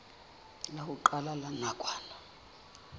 la ho qala la nakwana